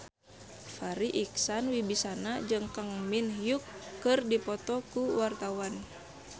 Farri Icksan Wibisana jeung Kang Min Hyuk keur dipoto ku wartawan